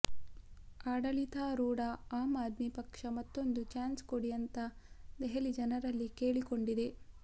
ಆಡಳಿತಾರೂಢ ಆಮ್ ಆದ್ಮಿ ಪಕ್ಷ ಮತ್ತೊಂದು ಚಾನ್ಸ್ ಕೊಡಿ ಅಂತಾ ದೆಹಲಿ ಜನರಲ್ಲಿ ಕೇಳಿಕೊಂಡಿದೆ